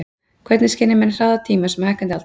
Hvernig skynja menn hraða tímans með hækkandi aldri?